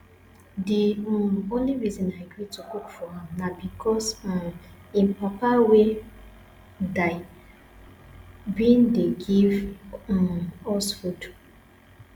the um only reason i gree to cook for am na because um im wey die bin dey give um us food